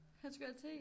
Han skulle have te